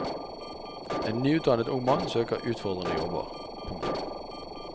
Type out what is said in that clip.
En nyutdannet ung mann søker utfordrende jobber. punktum